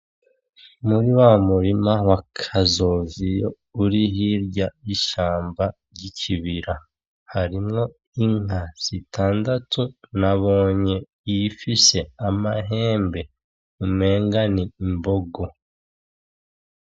Muri wa murima wa Kazoviyo uri hirya y'ishamba ry'ikibira, harimwo inka zitandatu, nabonye iyifise amahembe umengo n'imbogo.